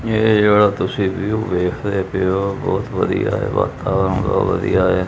ਇਹ ਜਿਹੜਾ ਤੁਸੀਂ ਵਿਊ ਵੇਖਦੇ ਪਏ ਹੋ ਬਹੁਤ ਵਧੀਆ ਹੈ ਵਾਤਾਵਰਨ ਬਹੁਤ ਵਧੀਆ ਹੈ।